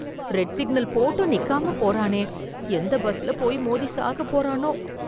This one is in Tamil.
ரெட் சிக்னல் போட்டும் நிக்காம போறானே, எந்த பஸ்ல போய் மோதி சாக போறானோ?